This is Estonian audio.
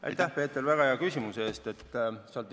Aitäh, Peeter, väga hea küsimuse eest!